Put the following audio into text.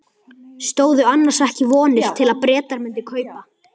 Stóðu annars ekki vonir til að Bretar mundu kaupa?